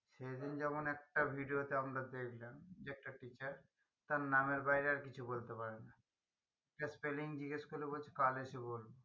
সেদিন যেমন একটা video আমরা দেখলাম যে একটা teacher তার নামের বাইরে আর কিছু বলতে পারে না একটা spelling জিজ্ঞেস করে বলছে কাল এসে বলছি